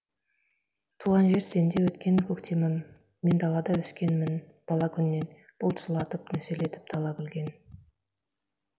туған жер сенде өткен көктемім мен далада өскенмін бала күннен бұлт жылатып нөсерлеп дала күлген